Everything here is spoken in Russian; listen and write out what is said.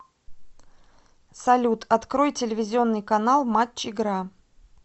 салют открой телевизионный канал матч игра